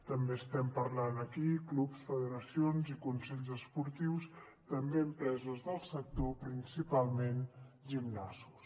també estem parlant aquí de clubs federacions i consells esportius i també d’empreses del sector principalment gimnasos